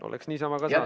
Oleks niisama ka saanud.